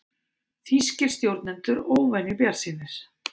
Þýskir stjórnendur óvenju bjartsýnir